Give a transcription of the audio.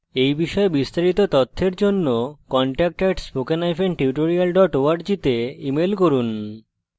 এই বিষয়ে বিস্তারিত তথ্যের জন্য contact at spoken hyphen tutorial dot org তে ইমেল করুন